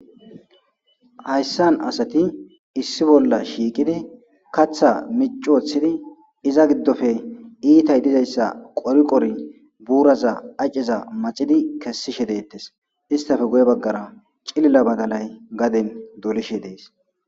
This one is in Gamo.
Hayssan asati issi bolla shiiqide katha miccioththidi iza giddofe iitay dizayssa qori qori buuraza acciza macidi kessishe deettes istafe guye baggara cilila badalay gaden dolishe dees